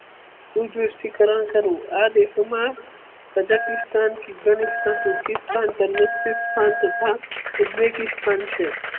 શુદ્રષ્ટિકરણ કરવું આ દેશમાં તથા ઉજવેગી સ્થાન છે.